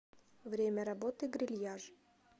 время работы грильяж